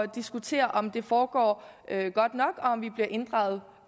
diskutere om det foregår godt nok og om vi bliver inddraget